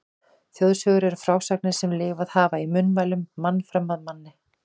Þjóðsögur eru frásagnir sem lifað hafa í munnmælum mann fram af manni.